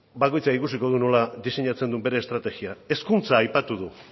beno bakoitzak ikusiko du nola diseinatzen duen bere estrategia hezkuntza aipatu du